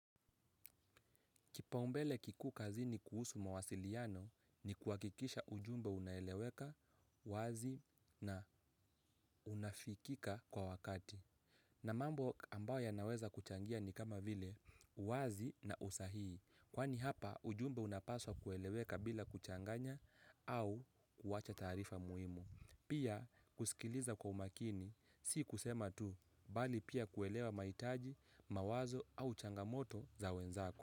Kipaumbele kikuu kazini kuhusu mawasiliano ni kuhakikisha ujumbe unaeleweka, wazi na unafikika kwa wakati. Na mambo ambayo yanaweza kuchangia ni kama vile, uwazi na usahihi. Kwani hapa ujumbe unapaswa kueleweka bila kuchanganya au kuwacha taarifa muhimu. Pia kusikiliza kwa umakini, si kusema tu, bali pia kuelewa mahitaji, mawazo au changamoto za wenzako.